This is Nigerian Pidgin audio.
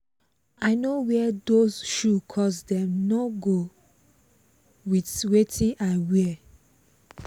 i no wear those shoe cos dem no go with wetin i wear